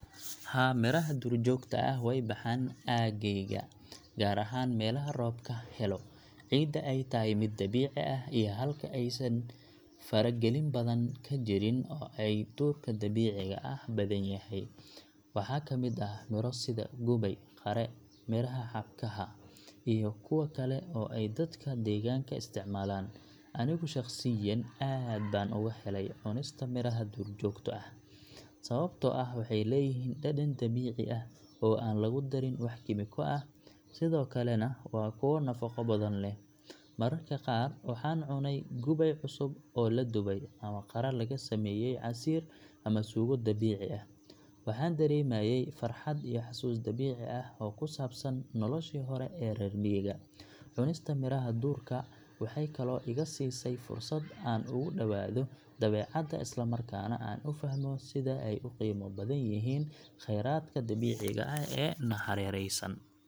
Haa, miraha duurjoogta ah way ka baxaan aaggeyga, gaar ahaan meelaha roobka helo, ciidda ay tahay mid dabiici ah, iyo halka aysan faragelin badan ka jirin oo ay duurka dabiiciga ah badanyahay. Waxaa ka mid ah miro sida gubay, qare, miraha xabkaha, iyo kuwa kale oo ay dadka deegaanka isticmaalaan. Anigu shaqsiyan aad baan uga helay cunista miraha duurjoogta ah, sababtoo ah waxay leeyihiin dhadhan dabiici ah oo aan lagu darin wax kiimiko ah, sidoo kalena waa kuwo nafaqo badan leh. Mararka qaar, waxaan cunay gubay cusub oo la dubay ama qare laga sameeyay casiir ama suugo dabiici ah, waxaana dareemay farxad iyo xasuus dabiici ah oo ku saabsan noloshii hore ee reer miyiga. Cunista miraha duurka waxay kaloo iga siisay fursad aan ugu dhawaado dabeecadda, isla markaana aan u fahmo sida ay u qiimo badan yihiin khayraadka dabiiciga ah ee na hareeraysan.